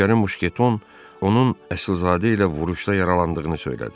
Nökərin muşketon onun əslzadə ilə vuruşda yaralandığını söylədi.